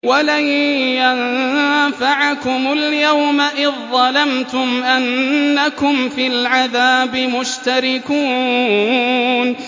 وَلَن يَنفَعَكُمُ الْيَوْمَ إِذ ظَّلَمْتُمْ أَنَّكُمْ فِي الْعَذَابِ مُشْتَرِكُونَ